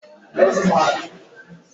I zụtara wọta melọnu dị ọhụrụ ụnyaahụ n'ahia Odegba?